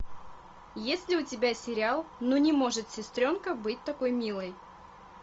есть ли у тебя сериал ну не может сестренка быть такой милой